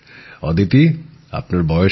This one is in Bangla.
অদিতি আপনার বয়স কত